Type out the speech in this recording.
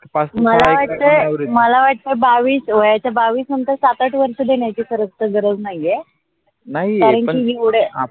मला वाटे बावीस वयाच्या बावीस नंतर सात आठ वर्षं देण्याची खरत गरज नाही आहे नाही पण आपल्या